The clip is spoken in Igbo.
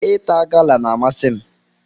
Ịta gala n'amasi m